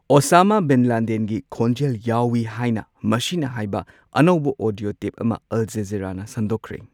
Osama bin ꯂꯥꯗꯦꯟꯒꯤ ꯈꯣꯟꯖꯦꯜ ꯌꯥꯎꯋꯤ ꯍꯥꯏꯅ ꯃꯁꯤꯅ ꯍꯥꯏꯕ ꯑꯅꯧꯕ ꯑꯣꯗꯤꯑꯣ ꯇꯦꯞ ꯑꯃ ꯑꯜꯖꯖꯤꯔꯥꯅ ꯁꯟꯗꯣꯛꯈ꯭ꯔꯦ꯫